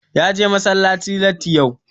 Ya je masallaci latti yau.